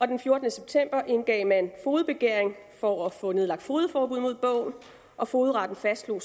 den fjortende september indgav man fogedbegæring for at få nedlagt fogedforbud mod bogen og fogedretten fastslog